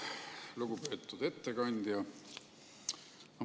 Lugupeetud ettekandja!